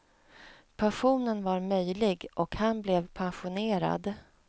Passionen var möjlig, och han blev passionerad.